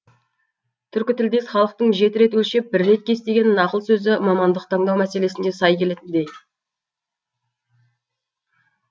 түркі тілдес халықтың жеті рет өлшеп бір рет кес деген нақыл сөзі мамандық таңдау мәселесіне сай келетіндей